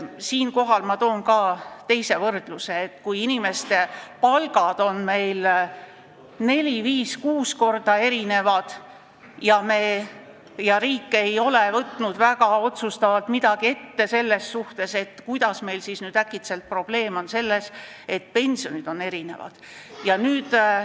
Siinkohal toon teise võrdluse: kui inimeste palgad erinevad neli, viis või kuus korda ja riik ei ole võtnud sellega midagi väga otsustavat ette, kuidas siis nüüd äkitselt probleem on selles, et pensionid on erinevad?